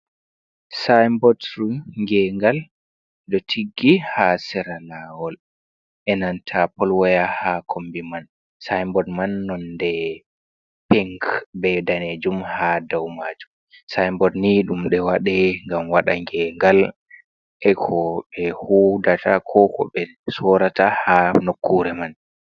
sayinbodru gengal ɗo tiggi ha seralawol, enanta polwaya ha kombi man, sayinbod man ni nonde pink be danejum ha daw majum. sayinbod ni ɗum waɗi gam waɗe gengal e ko ɓe hudata, ko ko ɓe sorata, ha nokkure man.